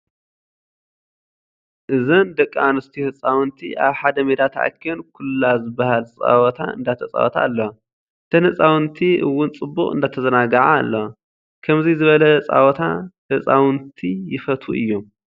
እዞም ደቂ ኣነስትዮ ህፃውንቲ ኣብ ሓደ ሜዳ ተኣኪበን ኩላ ዝባሃል ፃወታ እንዳተፃወታ ኣለዋ። እተን ህፃውንቲ እውን ፅቡቅ እንዳተዛነገዓ ኣለዋ። ከምዚ ዝበለ ፃወታ ህፃውንቲ ይፈትዉ እዮም።